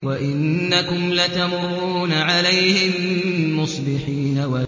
وَإِنَّكُمْ لَتَمُرُّونَ عَلَيْهِم مُّصْبِحِينَ